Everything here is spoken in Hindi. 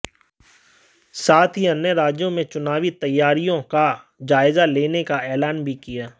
साथ ही अन्य राज्यों में चुनावी तैयारियों का जायज़ा लेने का ऐलान भी किया